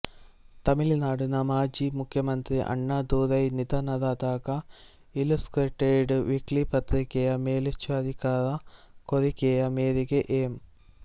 ತಮಿಳುನಾಡಿನ ಮಾಜೀ ಮುಖ್ಯಮಂತ್ರಿ ಅಣ್ಣಾ ದೊರೈ ನಿಧನರಾದಾಗ ಇಲ್ಲುಸ್ಟ್ರೇಟೆಡ್ ವೀಕ್ಲಿ ಪತ್ರಿಕೆಯ ಮೇಲ್ವಿಚಾರಕರ ಕೋರಿಕೆಯ ಮೇರೆಗೆ ಎಂ